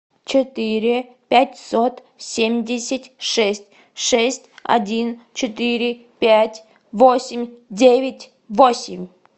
четыре пятьсот семьдесят шесть шесть один четыре пять восемь девять восемь